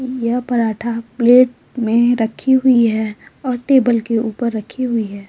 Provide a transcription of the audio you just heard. यह पराठा प्लेट में रखी हुई है और टेबल के ऊपर रखी हुई है।